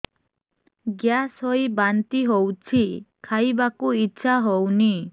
gas ହୋଇ ବାନ୍ତି ହଉଛି ଖାଇବାକୁ ଇଚ୍ଛା ହଉନି